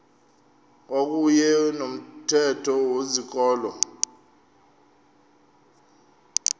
kwakuyne nomthetho wezikolo